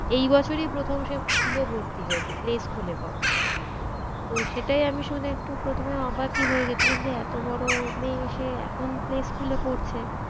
এই বছরই প্রথম সে স্কুলে ভর্তি হয়েছে play school এ পরে। তো সেটাই আমি শুনে একটু প্রথমে অবাকই হয়ে গিয়েছিলাম যে এতবড়ো মেয়ে সে এখন play school এ পড়ছে?